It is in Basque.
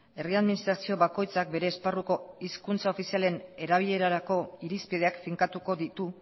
herri administrazio bakoitzak bere esparruko hizkuntza ofizialen erabilerarako irizpideak finkatuko ditu